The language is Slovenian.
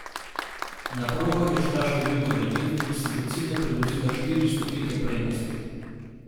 Na progo je šla s številko devet in si do cilja privozila štiri stotinke prednosti.